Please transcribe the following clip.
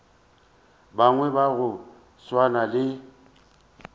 bangwe ba go swana le